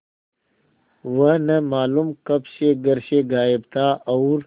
वह न मालूम कब से घर से गायब था और